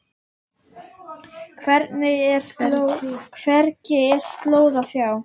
Hvergi er slóð að sjá.